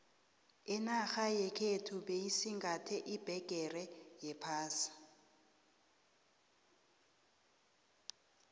inarha yekhethu beyisingathe iphegere yephasi